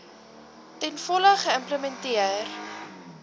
ten volle geïmplementeer